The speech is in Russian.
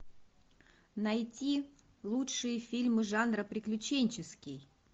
найти лучшие фильмы жанра приключенческий